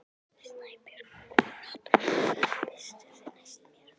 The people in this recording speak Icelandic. Snæbjört, hvaða stoppistöð er næst mér?